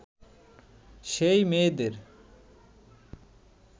সেই মেয়েদের